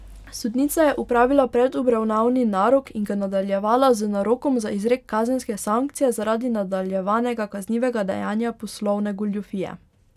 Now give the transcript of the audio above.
Sodnica je opravila predobravnavni narok in ga nadaljevala z narokom za izrek kazenske sankcije zaradi nadaljevanega kaznivega dejanja poslovne goljufije.